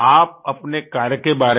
आप अपने कार्य के बारे में